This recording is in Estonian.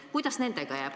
Kuidas nendega jääb?